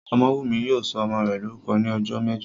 Ọmọ́wùnmí yóò sọ ọmọ rẹ̀ lórúkọ ní ọjọ́ mẹ́jọ